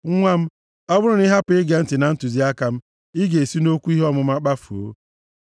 Nwa m ọ bụrụ na ị hapụ ige ntị na ntụziaka m, ị ga-esi nʼokwu ihe ọmụma kpafuo.